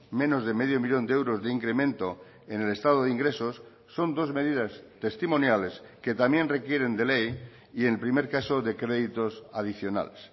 menos de medio millón de euros de incremento en el estado de ingresos son dos medidas testimoniales que también requieren de ley y en el primer caso de créditos adicionales